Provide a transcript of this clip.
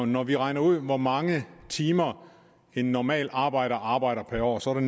når vi regner ud hvor mange timer en normal arbejder arbejder per år så er